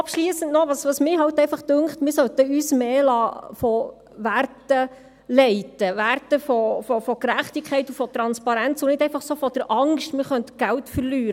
Abschliessend noch etwas: Ich bin der Meinung, wir sollten uns mehr von Werten leiten lassen, Werten von Gerechtigkeit und von Transparenz, und nicht einfach von der Angst, man könnte Geld verlieren.